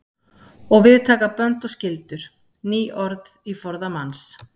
Og við taka bönd og skyldur. ný orð í forða manns.